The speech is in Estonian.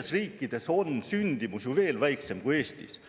–, on sündimus ju veel väiksem kui Eestis.